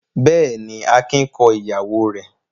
Bẹ́ẹ̀ ni, Akin kọ ìyàwó rẹ̀.